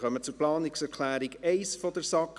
Wir kommen zur Planungserklärung 1 der SAK.